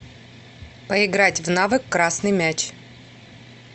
поиграть в навык красный мяч